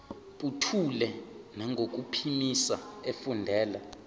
buthule nangokuphimisa efundela